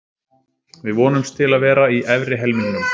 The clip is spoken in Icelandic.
Við vonumst til að vera í efri helmingnum.